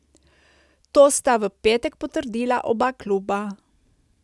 To sta v petek potrdila oba kluba.